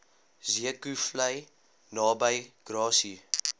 zeekoevlei naby grassy